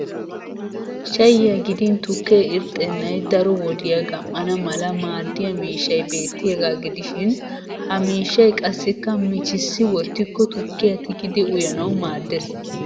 Shayyiya gidin tukkee irxxennay daro wodiya gam"ana malla maadiya miishshay beettiyaagaa gidishin. Ha miishshay qassikka michissi wottikko tukkiya tigidi uyanawu maaddes.